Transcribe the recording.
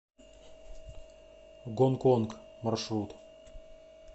гонконг маршрут